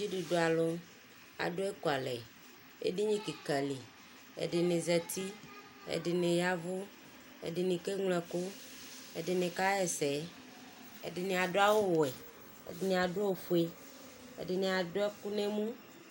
Dzidudu alʋ, adʋ ekʋalɛ, edini kika li Ɛdini zati, ɛdini yavʋ, ɛdini keŋlo ɛkʋ, ɛdini kaɣ'ɛsɛ, ɛdini adʋ awʋ wɛ, ɛdini adʋ ofue, ɛdini adʋ ɛkʋ n'ɛmʋ